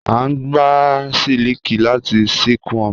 A ngbà sílikì látì silkworms.